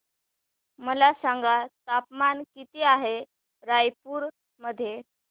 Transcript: मला सांगा तापमान किती आहे रायपूर मध्ये